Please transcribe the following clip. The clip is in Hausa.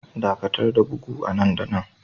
Dakatar da bugu nan da nan